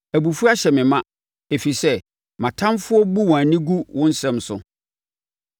Abufuo ahyɛ me ma, ɛfiri sɛ mʼatamfoɔ bu wɔn ani gu wo nsɛm no.